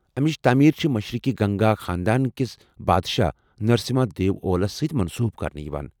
امِچ تٲمیٖر چھِ مشرقی گنگا خاندان کس بادشاہ نرسما دیو اولس سۭتۍ منسوب کرنہٕ یوان ۔